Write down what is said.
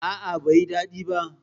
A'a, bai yi daɗi ba.